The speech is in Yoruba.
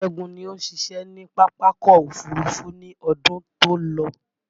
Ṣẹ́gun ní òun ṣiṣẹ́ ni Pápákọ̀ Òfurufú ní ọdún tó lọ